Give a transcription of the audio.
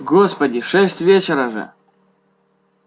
господи шесть вечера же